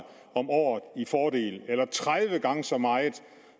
om året i fordel eller tredive gange så meget